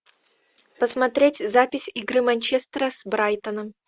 посмотреть запись игры манчестера с брайтоном